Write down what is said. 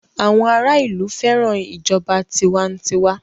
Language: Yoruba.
àwọn ara ilú féràn ìjọba tiwantiwa.